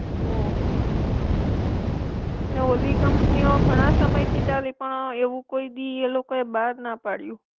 ઓ ને ઓલી કંપનિઓ ઘણા સમયથી ચાલી પણ એવું કોઈ ડી એ લોકોએ બાર ના પાડયું.